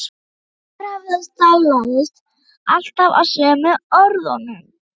Sá berhöfðaði staglaðist alltaf á sömu orðunum